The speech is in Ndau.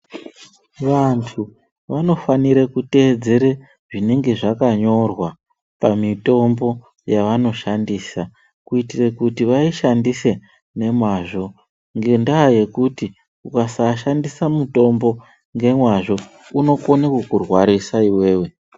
Vantu vanofanire kuteedzere zvinenge zvakanyorwa pamitombo yavanoshandisa kuitire kuti vaishandise nemazvo ngendaa yekuti ukasashandisa mutombo ngemazvo unokone kukurwarisa iwewe.